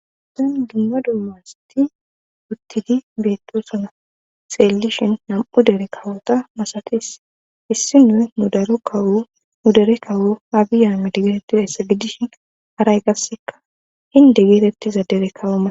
sen ginda dummasti uttidi beettosuna seellishin nam7u dere kawota masates issi nu nu daro kawu nu dere kawo aabiya mide geetetizayssa gidishin haray gasseka hinde geetettizadere kawama